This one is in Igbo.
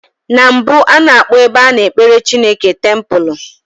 Na mbụ, a na-akpọ ebe a na-ekpere Chineke tempụlụ.